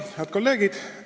Head kolleegid!